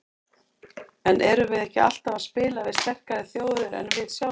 En erum við ekki alltaf að spila við sterkari þjóðir en við sjálfir?